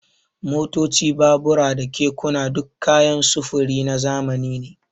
Motoci, babura da kekuna duk kayan sufuri na zamani ne.